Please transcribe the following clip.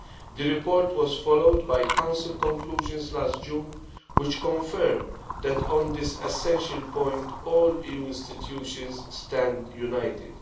The report was followed by Council conclusions last June, which confirm that on this essential point all EU institutions stand united.